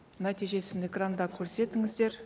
нәтижесін экранда көрсетіңіздер